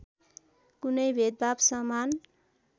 कुनै भेदभाद समान